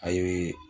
A ye